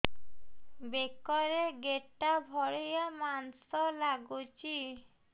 ବେକରେ ଗେଟା ଭଳିଆ ମାଂସ ଲାଗୁଚି